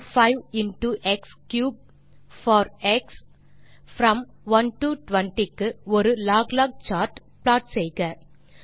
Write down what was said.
y5 into x for x from 1 20 க்கு ஒரு log log chart plot செய்க